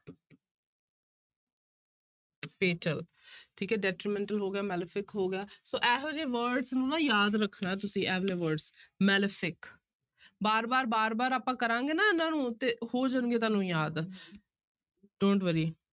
Fatal ਠੀਕ ਹੈ detrimental ਹੋ ਗਿਆ malefic ਹੋ ਗਿਆ ਸੋ ਇਹੋ ਜਿਹੇ words ਨੂੰ ਨਾ ਯਾਦ ਰੱਖਣਾ ਤੁਸੀਂ ਇਹ ਵਾਲੇ words malefic ਬਾਰ ਬਾਰ, ਬਾਰ ਬਾਰ ਆਪਾਂ ਕਰਾਂਗੇ ਨਾ ਇਹਨਾਂ ਨੂੰ ਤੇ ਹੋ ਜਾਣਗੇ ਤੁਹਾਨੂੰ ਯਾਦ don't worry